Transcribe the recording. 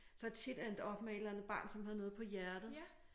Så jeg tit endt op med et eller andet barn som havde noget på hjertet